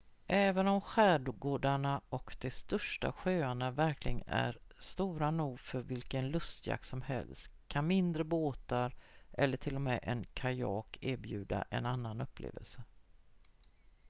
även om skärgårdarna och de största sjöarna verkligen är stora nog för vilken lustjakt som helst kan mindre båtar eller t.o.m. en kajak erbjuda en annan upplevelse